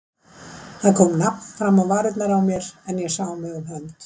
Það kom nafn fram á varirnar á mér, en ég sá mig um hönd.